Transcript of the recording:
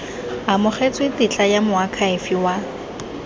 amogetswe tetla ya moakhaefe wa